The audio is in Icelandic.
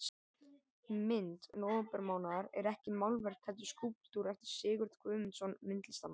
mynd nóvembermánaðar er ekki málverk heldur skúlptúr eftir sigurð guðmundsson myndlistarmann